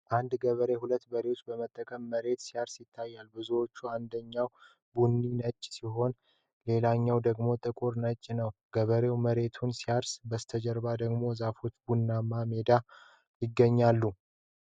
አንድ ገበሬ ሁለት በሬዎች በመጠቀም መሬት ሲያርስ ይታያል። በሬዎቹ አንደኛው ቡኒና ነጭ ሲሆን፣ ሌላኛው ደግሞ ጥቁርና ነጭ ነው። ገበሬው መሬቱን ሲያርስ በስተጀርባ ደግሞ ዛፎችና ቡናማ ሜዳዎች ይገኛሉ።